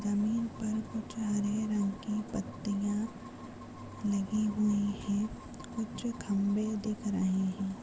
जमीन पर कुछ हरे रंग की पत्तियाँ लगी हुई है कुछ खंबे दिख रहे हैं।